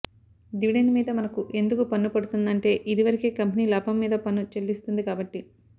dividend మీద మనకు ఎందుకు పన్ను పడదంటే ఇదివరకే కంపెనీ లాభం మీద పన్ను చెల్లిస్తుంది కాబట్టి